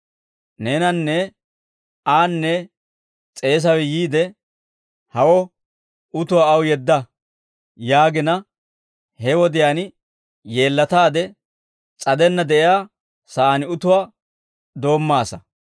Neenanne aanne s'eesawe yiide, ‹Hawo, utuwaa aw yeedda› yaagina; he wodiyaan yeellataade s'adenna de'iyaa saan utuwaa doommaasa;